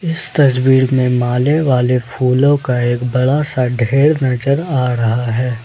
इस तस्वीर में माले वाले फूलों का एक बड़ा सा ढेर नजर आ रहा है।